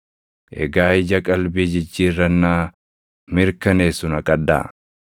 Egaa ija qalbii jijjiirrannaa mirkaneessu naqadhaa.